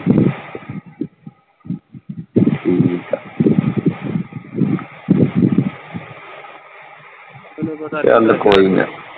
ਠੀਕ ਆ, ਚੱਲ ਕੋਈ ਨੀ।